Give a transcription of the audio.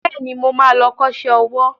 Bẹ́ẹ̀ni, mo ma lọ kọ́ṣẹ́ owó